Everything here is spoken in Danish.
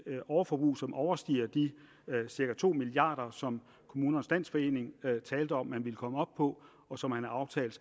overforbrug som overstiger de cirka to milliard kr som kommunernes landsforening talte om man ville komme op på og som man har aftalt